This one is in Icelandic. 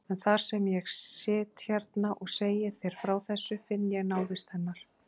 En þar sem ég sit hérna og segi þér frá þessu, finn ég návist hennar.